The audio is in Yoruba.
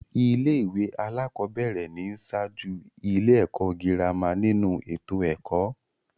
Ilé-ìwé alákọ̀ọ́bẹ̀rẹ̀ ni ń ṣáájú ilé-ẹ̀kọ́ girama nínu ètò ẹ̀kọ́.